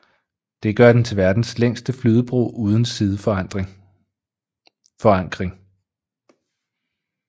Det gør den til verdens længste flydebro uden sideforankring